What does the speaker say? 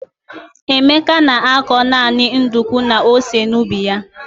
Emeka na-akọ naanị nduku na ose n'ubi ya.